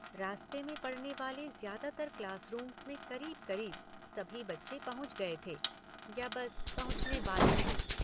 रास्ते में पड़ने वाले ज्यादातर क्लासरूम्स में करीब करीब, सभी बच्चे पहुँच गए थे या बस पहुँचने वाले थे।